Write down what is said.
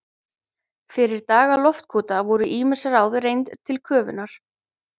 Fyrir daga loftkúta voru ýmis ráð reynd til köfunar.